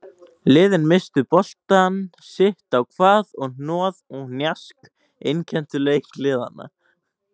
Liðin misstu boltann sitt á hvað og hnoð og hnjask einkenndu leik liðanna.